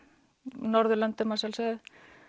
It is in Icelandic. Norðurlöndum að sjálfsögðu